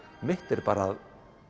mitt er bara að